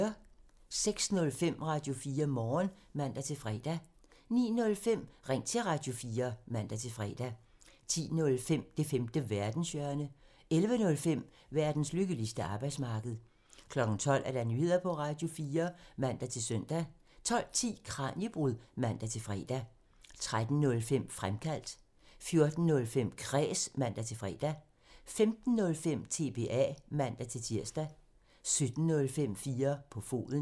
06:05: Radio4 Morgen (man-fre) 09:05: Ring til Radio4 (man-fre) 10:05: Det femte verdenshjørne (man) 11:05: Verdens lykkeligste arbejdsmarked (man) 12:00: Nyheder på Radio4 (man-søn) 12:10: Kraniebrud (man-fre) 13:05: Fremkaldt (man) 14:05: Kræs (man-fre) 15:05: TBA (man-tir) 17:05: 4 på foden (man)